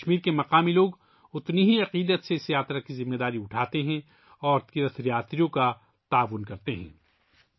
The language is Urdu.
جموں و کشمیر کے مقامی لوگ اس یاترا کی ذمہ داری یکساں عقیدت کے ساتھ لیتے ہیں، اور یاتریوں کے ساتھ تعاون کرتے ہیں